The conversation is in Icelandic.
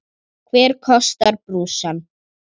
Hver borgar brúsann?